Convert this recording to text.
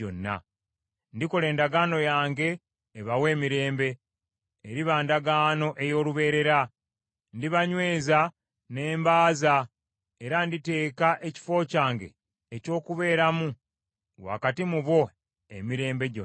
Ndikola endagaano yange ebawa emirembe, eriba ndagaano ey’olubeerera. Ndibanyweza ne mbaaza, era nditeeka ekifo kyange eky’okubeeramu wakati mu bo emirembe gyonna.